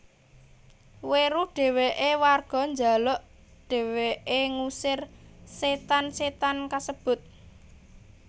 Weruh dheweke warga njaluk dheweke ngusir setan setan kasebut